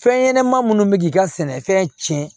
Fɛn ɲɛnɛma minnu bɛ k'i ka sɛnɛfɛn cɛn